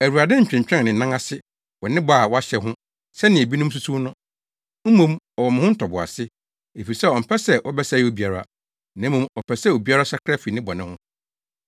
Awurade ntwentwɛn ne nan ase wɔ ne bɔ a wahyɛ ho sɛnea ebinom susuw no. Mmom ɔwɔ mo ho ntoboase, efisɛ ɔmpɛ sɛ wɔbɛsɛe obiara, na mmom ɔpɛ sɛ obiara sakra fi ne bɔne ho.